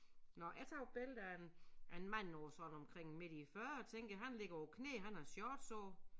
Nåh jeg tager jo et billede af en af en mand på sådan omkring midt i æ fyrrere tænker jeg han ligger på æ knæ han har shorts på